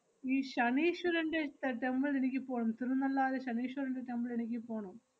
ഈ ശനീശ്വരന്‍റെ te~ temple എനിക്ക് പോണം. തിരുനല്ലാര് ശനീശ്വരന്‍റെ temple എനിക്ക് പോണം.